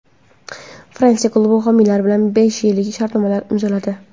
Fransiya klubi homiylar bilan besh yillik shartnoma imzoladi.